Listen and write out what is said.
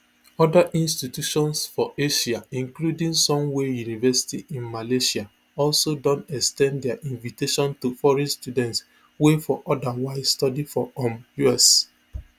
oda institutions for asia including sunway university in malaysia also don ex ten d dia invitation to foreign students wey for odawise study for um us